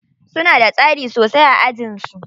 Suna da tsari sosai a ajin su.